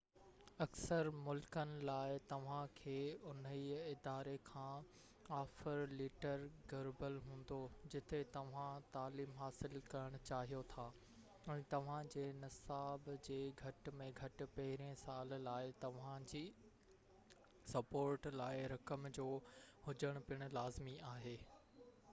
اڪثر ملڪن لاءِ توهان کي انهي اداري کان آفر ليٽر گهربل هوندو جتي توهان تعليم حاصل ڪرڻ چاهيو ٿا ۽ توهان جي نصاب جي گهٽ ۾ گهٽ پهريئن سال لاءِ توهانجي سپورٽ لاءِ رقم جو هجڻ پن لازمي آهي